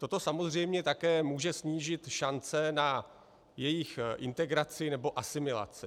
Toto samozřejmě také může snížit šance na jejich integraci nebo asimilaci.